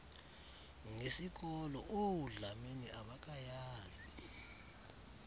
ngesikolo oodlamini abakayazi